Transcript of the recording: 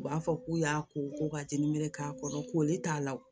U b'a fɔ k'u y'a ko ko ka jɛnini k'a kɔnɔ ko ne t'a la